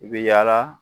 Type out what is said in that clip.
I bɛ yaala